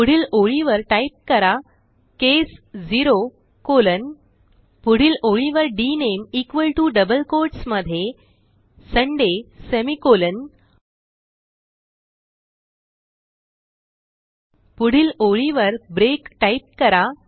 पुढील ओळीवर टाईप करा केस 0 कॉलन पुढील ओळीवर डीएनएमई इक्वॉल टीओ डबल कोट्स मध्ये सुंदय सेमिकोलॉन पुढील ओळीवर ब्रेक टाईप करा